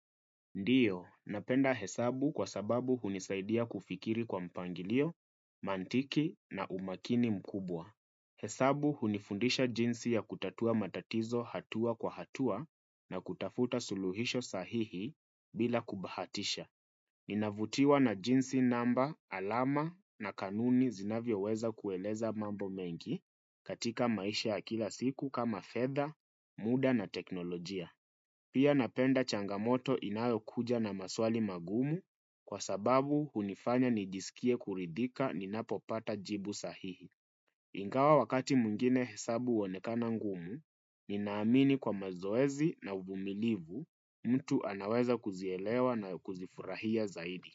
Ndiyo, napenda hesabu kwa sababu hunisaidia kufikiri kwa mpangilio, mantiki na umaakini mkubwa. Hesabu hunifundisha jinsi ya kutatua matatizo hatua kwa hatua na kutafuta suluhisho sahihi bila kubahatisha. Ninavutiwa na jinsi namba, alama na kanuni zinavyo weza kueleza mambo mengi katika maisha ya kila siku kama fedha, muda na teknolojia. Pia napenda changamoto inayo kuja na maswali magumu kwa sababu hunifanya nijisikie kuridhika ninapopata jibu sahihi. Ingawa wakati mwingine hesabu huonekana ngumu, ninaamini kwa mazoezi na uvumilivu mtu anaweza kuzielewa na kuzifurahia zaidi.